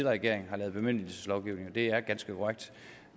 regering har lavet bemyndigelseslovgivning det er ganske korrekt